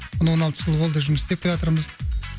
он алты жыл болды жұмыс істеп келатырмыз